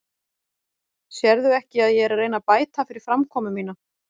Sérðu ekki að ég er að reyna að bæta fyrir framkomu mína?